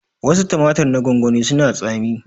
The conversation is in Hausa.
Wasu tumatir na gwangwani suna da tsami